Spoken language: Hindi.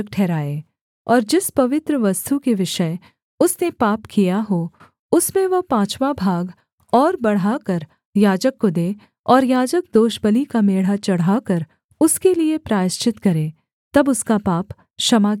और जिस पवित्र वस्तु के विषय उसने पाप किया हो उसमें वह पाँचवाँ भाग और बढ़ाकर याजक को दे और याजक दोषबलि का मेढ़ा चढ़ाकर उसके लिये प्रायश्चित करे तब उसका पाप क्षमा किया जाएगा